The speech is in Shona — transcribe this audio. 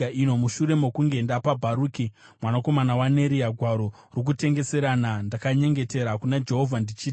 “Mushure mokunge ndapa Bharuki mwanakomana waNeria gwaro rokutengeserana, ndakanyengetera kuna Jehovha, ndichiti: